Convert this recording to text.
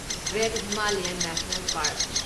great Himalayan national park